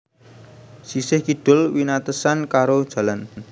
Sisih kidul winatesan karo Jl